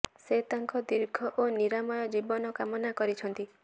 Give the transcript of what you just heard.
ସେ ତାଙ୍କ ଦୀର୍ଘ ଓ ନିରାମୟ ଜୀବନ କାମନା କରିଛନ୍ତି